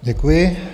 Děkuji.